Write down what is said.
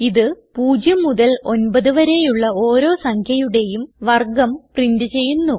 ഇത് 0 മുതൽ 9 വരെയുള്ള ഓരോ സംഖ്യയുടേയും വർഗം പ്രിന്റ് ചെയ്യുന്നു